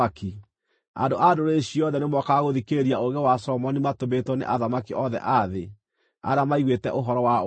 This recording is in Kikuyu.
Andũ a ndũrĩrĩ ciothe nĩmookaga gũthikĩrĩria ũũgĩ wa Solomoni matũmĩtwo nĩ athamaki othe a thĩ, arĩa maiguĩte ũhoro wa ũũgĩ wake.